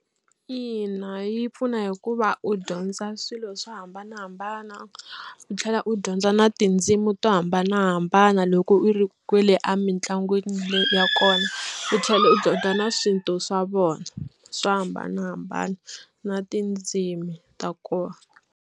Ina yi pfuna hikuva u dyondza swilo swo hambanahambana u tlhela u dyondza na tindzimi to hambanahambana loko u ri kwale emitlangwini ya kona u tlhela u dyondza na swintu swa vona swo hambanahambana na tindzimi ta kona.